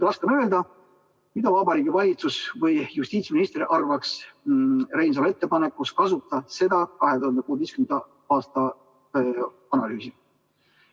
Raske on öelda, mida Vabariigi Valitsus või justiitsminister arvaks Reinsalu ettepanekust kasutada seda 2016. aasta analüüsi.